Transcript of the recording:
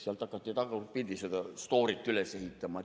Sealt hakati tagurpidi seda stoorit üles ehitama.